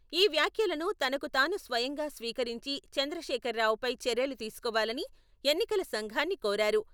ఈ వ్యాఖ్యలను తనకుతాను స్వయంగా స్వీకరించి చంద్రశేఖర్ రావుపై చర్యలు తీసుకోవాలని ఎన్నికల సంఘాన్ని కోరారు.